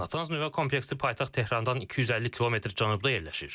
Natanz nüvə kompleksi paytaxt Tehrandan 250 kilometr cənubda yerləşir.